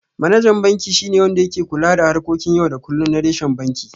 Manajan banki shi ne wanda yake kula da harkokin yau da kullum na reshen banki.